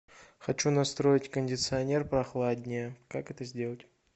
хочу настроить кондиционер прохладнее как это сделать